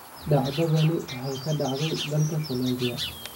Dhacdadani waxay ka dhacday dalka Colombia.